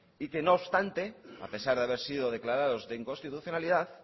y que no obstante a pesar de haber sido declarados de inconstitucionalidad